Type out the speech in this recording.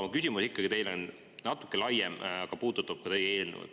Mu küsimus teile on natuke laiem, aga see puudutab ka seda eelnõu.